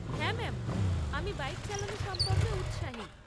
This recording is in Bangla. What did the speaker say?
হ্যাঁ ম্যাম, আমি বাইক চালানো সম্পর্কে উৎসাহী।